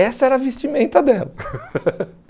Essa era a vestimenta dela.